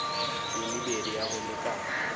ye mebedi ya go lekana